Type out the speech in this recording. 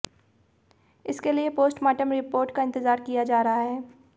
इसके लिए postmortem report का इंतजार किया जा रहा है